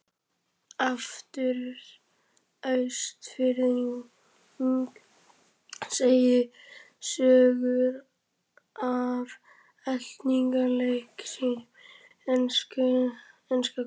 Austfirðing segja sögur af eltingaleik sínum við enska Koll.